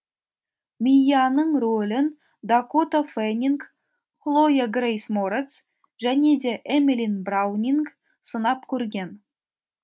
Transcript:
мияның рөлін дакота фэннинг хлоя грейс морец және де эмили браунинг сынап көрген